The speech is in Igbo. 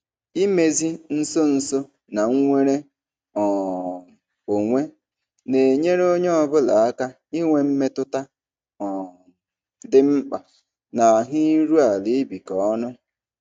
Imezi nso nso na nnwere um onwe na-enyere onye ọ bụla aka inwe mmetụta um dị mkpa na ahụ iru ala ibikọ ọnụ.